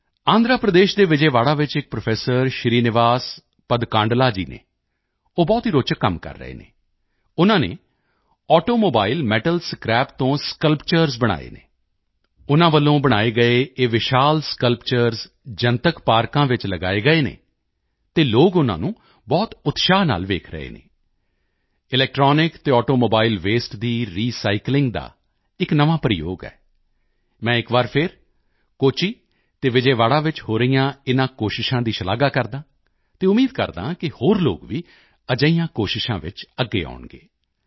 ਆਂਧਰ ਪ੍ਰਦੇਸ਼ ਦੇ ਵਿਜੈਵਾੜਾ ਵਿੱਚ ਇਕ ਪ੍ਰੋਫੈਸਰ ਸ਼੍ਰੀਨਿਵਾਸ ਪਦਕਾਂਡਲਾ ਜੀ ਹਨ ਉਹ ਬਹੁਤ ਹੀ ਰੋਚਕ ਕੰਮ ਕਰ ਰਹੇ ਹਨ ਉਨ੍ਹਾਂ ਨੇ ਆਟੋਮੋਬਾਇਲ ਮੈਟਲ ਸਕ੍ਰੈਪ ਤੋਂ ਸਕਲਪਚਰਜ਼ ਸਕਲਪਚਰਸ ਬਣਾਏ ਹਨ ਉਨ੍ਹਾਂ ਵੱਲੋਂ ਬਣਾਏ ਗਏ ਇਹ ਵਿਸ਼ਾਲ ਸਕਲਪਚਰਜ਼ ਜਨਤਕ ਪਾਰਕਾਂ ਵਿੱਚ ਲਗਾਏ ਗਏ ਹਨ ਅਤੇ ਲੋਕ ਉਨ੍ਹਾਂ ਨੂੰ ਬਹੁਤ ਉਤਸ਼ਾਹ ਨਾਲ ਵੇਖ ਰਹੇ ਹਨ ਇਲੈਕਟ੍ਰੌਨਿਕ ਅਤੇ ਆਟੋਮੋਬਾਇਲ ਵਸਤੇ ਦੀ ਰੀਸਾਈਕਲਿੰਗ ਦਾ ਇਕ ਨਵਾਂ ਪ੍ਰਯੋਗ ਹੈ ਮੈਂ ਇਕ ਵਾਰ ਫਿਰ ਕੋਚੀ ਅਤੇ ਵਿਜੈਵਾੜਾ ਵਿੱਚ ਹੋ ਰਹੀਆਂ ਇਨ੍ਹਾਂ ਕੋਸ਼ਿਸ਼ਾਂ ਦੀ ਸ਼ਲਾਘਾ ਕਰਦਾ ਹਾਂ ਅਤੇ ਉਮੀਦ ਕਰਦਾ ਹਾਂ ਕਿ ਹੋਰ ਲੋਕ ਵੀ ਅਜਿਹੀਆਂ ਕੋਸ਼ਿਸ਼ਾਂ ਵਿੱਚ ਅੱਗੇ ਆਉਣਗੇ